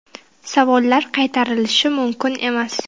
Savollar qaytarilishi mumkin emas.